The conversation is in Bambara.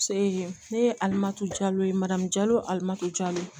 ne ye alimato alimami